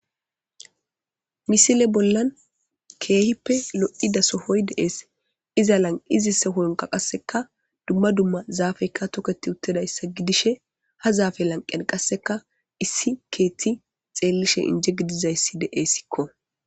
Missile bolan kehipe lo'ida sohoy des iza lanqenka duma duma zafeka toketiutidayssa gidishin ha zafe lanqen qaseka issi kethi xelishini inje gidizaysi de'esko.